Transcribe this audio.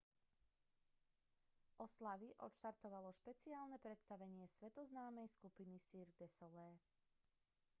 oslavy odštartovalo špeciálne predstavenie svetoznámej skupiny cirque du soleil